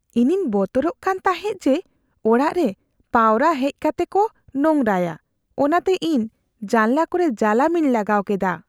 ᱤᱧᱤᱧ ᱵᱚᱛᱚᱨᱚᱜ ᱠᱟᱱ ᱛᱟᱦᱮᱸᱜ ᱡᱮ ᱚᱲᱟᱜ ᱨᱮ ᱯᱟᱣᱨᱟ ᱦᱮᱡᱽ ᱠᱟᱛᱮᱜ ᱠᱚ ᱱᱳᱝᱨᱟᱭᱟ ᱚᱱᱟᱛᱮ ᱤᱧ ᱡᱟᱱᱞᱟ ᱠᱚᱨᱮ ᱡᱟᱞᱟᱢᱤᱧ ᱞᱟᱜᱟᱣ ᱠᱮᱫᱟ ᱾